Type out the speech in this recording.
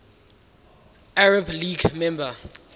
arab league member